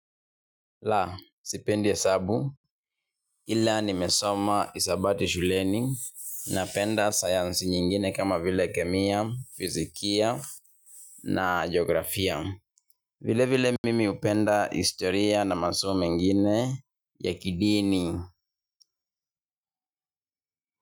La, sipendi hesabu, ila nimesoma hisabati shuleni napenda science nyingine kama vile kemia, fizikia na geografia. Vile vile mimi hupenda historia na masomo mengine ya kidini.